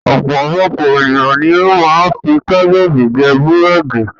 Ọpọ̀lọpọ̀ ènìyàn ni ó ma ń fi Titus jẹ búrẹ̀dì